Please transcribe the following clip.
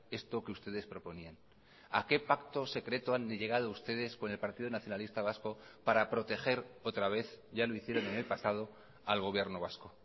esto que ustedes proponían a qué pacto secreto han llegado ustedes con el partido nacionalista vasco para proteger otra vez ya lo hicieron en el pasado al gobierno vasco